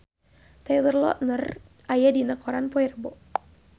Taylor Lautner aya dina koran poe Rebo